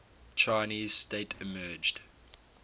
chinese state emerged